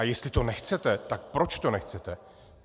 A jestli to nechcete, tak proč to nechcete?